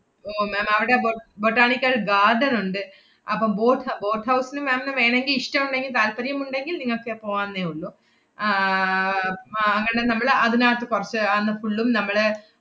ഓ ma'am അവടെ bo~ botanical garden ഒണ്ട്, അപ്പം boat hou~ boat house ന് ma'am ന് വേണോങ്കി ഇഷ്ടം ഒണ്ടെങ്കി താല്പര്യമുണ്ടെങ്കിൽ നിങ്ങക്ക് പോവാന്നേ ഉള്ളൂ. ആഹ് അഹ് അങ്ങനെ നമ്മള് അതിനാത്ത് കൊറച്ച് അന്ന് full ഉം നമ്മള്,